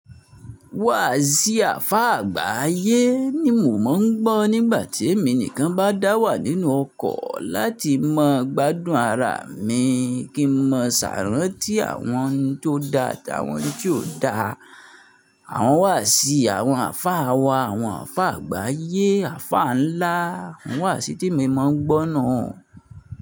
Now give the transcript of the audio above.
Wàásíì àlfá àgbáyé ni mò mọ̀ ń gbọ́ nígbàtí èmi nìkan bá dàwà nínú ọkọ̀ láti mọ̀ gbádùn ara mi, kí n mọ̀ sàáràntí àwọn tó da àtí àwọn tí ò da. Àwọn wàásì, àwọn àfá àwa, àwọn àfá àgbáyé, àfá ńlá, àwọn wàásì tí emi mọ̀ ń gbọ́ nuu.